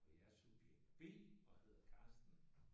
Og jeg er subjekt B og hedder Carsten